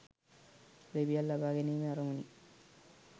ලිපියක් ලබාගැනීමේ අරමුණින්.